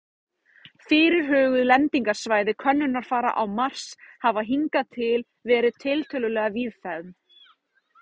Fyrirhuguð lendingarsvæði könnunarfara á Mars hafa hingað til verið tiltölulega víðfeðm.